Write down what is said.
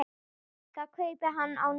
Það kaupi hann á netinu.